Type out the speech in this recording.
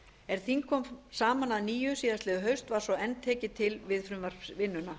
er þing kom saman að nýju í fyrrahaust var svo enn tekið til við frumvarpsvinnuna